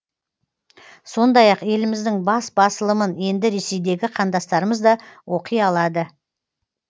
сондай ақ еліміздің бас басылымын енді ресейдегі қандастырымыз да оқи алады